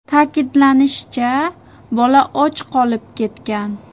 Ta’kidlanishicha, bola och qolib ketgan.